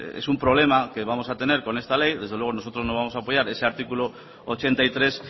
es un problema que vamos a tener con esta ley desde luego nosotros no vamos a apoyar ese artículo ochenta y tres